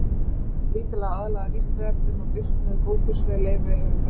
Efnið er lítillega aðlagað Vísindavefnum og birt með góðfúslegu leyfi höfundar.